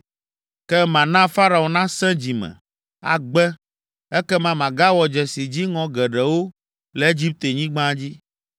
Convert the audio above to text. Ke mana Farao nasẽ dzi me, agbe. Ekema magawɔ dzesi dziŋɔ geɖewo le Egiptenyigba dzi.